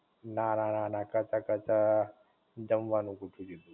ના ના ના કરતાં કરતાં જમવાનું ગોઠવી દીધું.